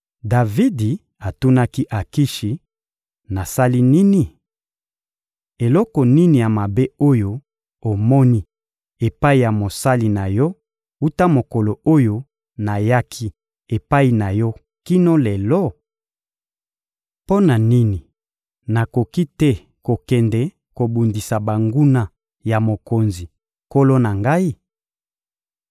Davidi atunaki Akishi: — Nasali nini? Eloko nini ya mabe oyo omoni epai ya mosali na yo wuta mokolo oyo nayaki epai na yo kino lelo? Mpo na nini nakoki te kokende kobundisa banguna ya mokonzi, nkolo na ngai?